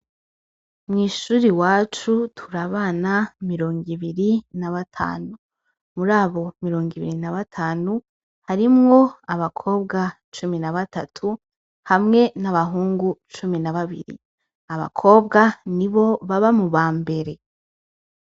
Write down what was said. Mw ishur' iwacu tur' abana mirong 'ibiri n' abatanu. Murabo mirong' ibiri n' abatanu, harimw' abakobwa cumi n'abatatu, hamwe n' abahungu cumi n' ababiri, abakobwa nibo baba mu bambere.